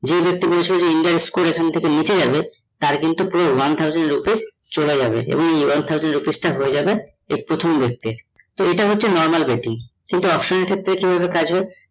যে ব্যক্তি বলেছিল India এর score এখন থেকে নিচে যাবে তার কিন্তু পুরো one thousand rupees চলে যাবে এবং one thousand rupees টা হয়ে যাবে প্রথম ব্যক্তির তো ইটা হচ্ছে normal betting কিন্তু option এর ক্ষেত্রে কি ভাবে কাজ হয়ে?